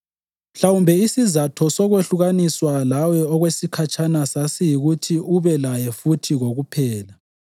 Mhlawumbe isizatho sokwehlukaniswa lawe okwesikhatshana sasiyikuthi ube laye futhi kokuphela